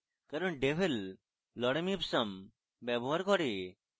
কারণ devel lorem ipsum ব্যবহার করে